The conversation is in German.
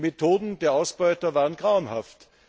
Die Methoden der Ausbeuter waren grauenhaft.